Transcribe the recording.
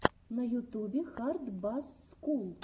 на ютубе хард басс скул